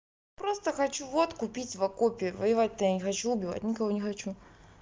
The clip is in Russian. просто хочу водку пить в окопе воевать я не хочу убивать никого не хочу